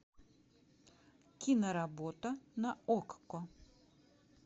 киноработа на окко